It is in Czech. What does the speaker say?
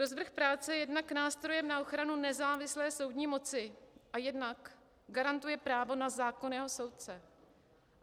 Rozvrh práce je jednak nástrojem na ochranu nezávislé soudní moci a jednak garantuje právo na zákonného soudce.